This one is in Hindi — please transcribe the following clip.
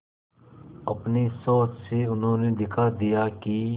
अपनी सोच से उन्होंने दिखा दिया कि